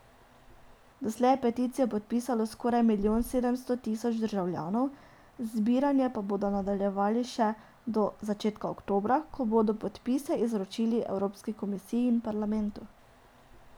Doslej je peticijo podpisalo skoraj milijon sedemsto tisoč državljanov, zbiranje pa bodo nadaljevali še do začetka oktobra, ko bodo podpise izročili evropski komisiji in parlamentu.